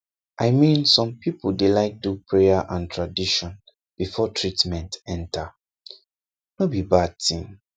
i mean some people dey like do prayer and tradition before treatment enter no be bad thing